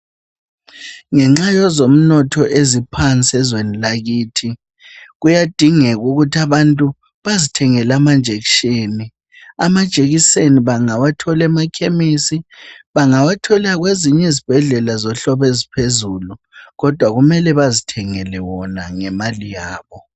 Ngenxa yozomnotho eziphansi ezweni lakithi, kuyadingek'ukuthi abantu bazithengele amanjekisheni. Amajekiseni bangawathola emakhemisi, bangawathola kweziny' izbhedlela zohlobo eziphezulu, kodwa kumele bazithengele wona ngemali yabo.